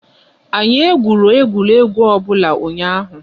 Anyi egwurọ egwuregwu obụla unyahụ